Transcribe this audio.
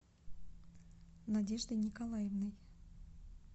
надеждой николаевной